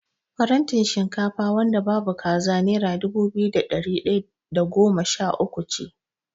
Farantin shinkafa wanda babu kaza nera dubu biyu da ɗari ɗaya da goma sha uku.